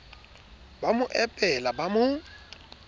ba mo epela ba mo